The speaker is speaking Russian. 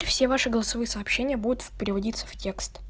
и все ваши голосовые сообщения будут переводится в текст